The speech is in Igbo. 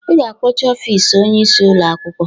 "Ị ga-akpọchi ọfis Onye isi ụlọ akwụkwọ"